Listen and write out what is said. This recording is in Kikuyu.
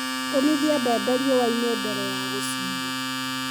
Omithia mbembe riũa-inĩ mbere ya gũciiga.